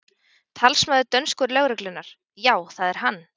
Talsmaður dönsku lögreglunnar: Já, það er hann?